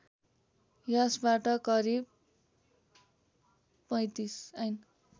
यसबाट करिब ३५